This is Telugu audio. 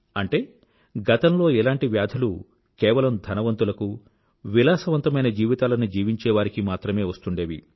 అంటే గతంలో ఇలాంటి వ్యాధులు కేవలం ధనవంతులకూ విలాసవంతమైన జీవితాలని జీవించేవారికి మాత్రమే వస్తూండేవి